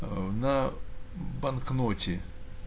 на банкноте